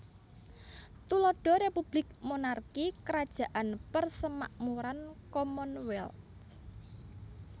Tuladha Republik Monarki Krajaan Persemakmuran Commonwealth